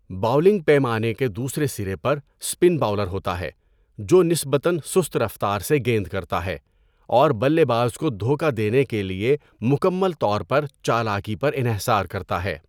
Bowling پیمانے کے دوسرے سرے پر اسپن باؤلر ہوتا ہے جو نسبتاً سست رفتار سے گیند کرتا ہے اور بلے باز کو دھوکہ دینے کے لیے مکمل طور پر چالاکی پر انحصار کرتا ہے۔